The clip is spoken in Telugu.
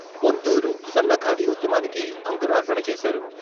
పొందూరు సన్న ఖాదీ ఉద్యమానికి అంకురార్పణ చేశారు.